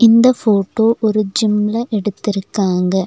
இந்த ஃபோட்டோ ஒரு ஜிம்ல எடுத்துருக்காங்க.